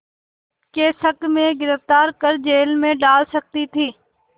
के शक में गिरफ़्तार कर जेल में डाल सकती थी